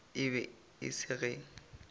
e be e se ge